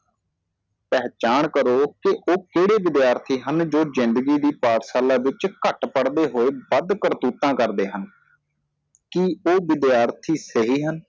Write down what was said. ਪਹਿਚਾਣ ਕਰੋ ਕਿ ਉਹ ਕਿਹੜੇ ਵਿਦਿਆਰਥੀ ਹਨ ਜੋ ਜਿੰਦਗੀ ਦੀ ਪਾਠਸ਼ਾਲਾ ਵਿਚ ਘੱਟ ਪੜਦੇ ਹੋਏ ਵੱਧ ਕਰਤੂਤਾਂ ਕਰਦੇ ਹਣ ਕਿ ਉਹ ਵਿਦਿਆਰਥੀ ਸਹੀ ਹਨ